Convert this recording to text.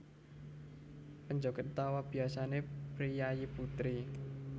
Penjoget utamané biasané priyayi putri